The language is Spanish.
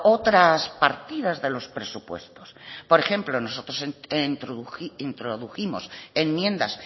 otras partidas de los presupuestos por ejemplo introdujimos enmiendas